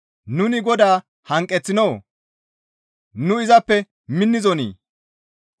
Nuni Godaa hanqeththinoo? Nu izappe minnizonii?